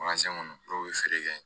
kɔnɔ dɔw bɛ feere kɛ